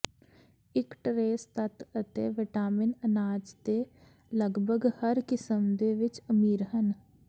ਇੱਕ ਟਰੇਸ ਤੱਤ ਅਤੇ ਵਿਟਾਮਿਨ ਅਨਾਜ ਦੇ ਲਗਭਗ ਹਰ ਕਿਸਮ ਦੇ ਵਿੱਚ ਅਮੀਰ ਹਨ